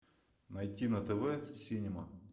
найти на тв синема